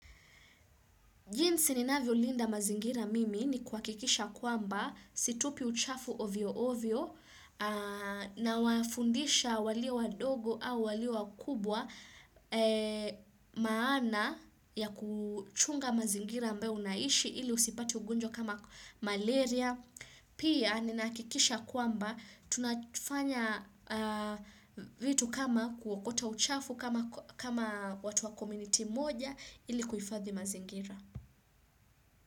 Jinsi ninavyo linda mazingira mimi ni kuhakikisha kwamba situpi uchafu ovyo ovyo na wafundisha walio wadogo au walio wakubwa maana ya kuchunga mazingira ambayo unaishi ili usipate ugonjwa kama malaria. Pia ninahakikisha kwamba tunafanya vitu kama kuokota uchafu kama watu wa kamitii moja ili kuhifadhi mazingira.